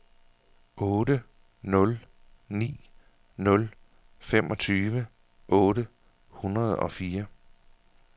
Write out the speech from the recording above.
otte nul ni nul femogtyve otte hundrede og fire